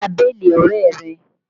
Lọ gba béèlì ọ̀rẹ́ rẹ!